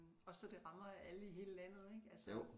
Også så det rammer alle i hele landet ikke altså